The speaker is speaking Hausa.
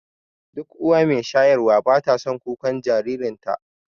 Duk uwa mai shayarwa bata son kukan jaririnta